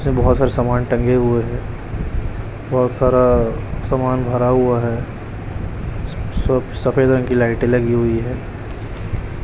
पीछे बहुत सारा सामान टंगे हुए हैं बहुत सारा सामान भरा हुआ है स सब सफेद रंग की लाइटें लगी हुई है।